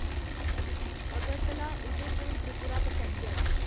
Agartala Udaipur Tripura passenger